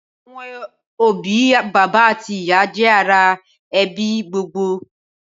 Awòn óbì bàbá àtí ìyá jè àrá èbí gbógbógbó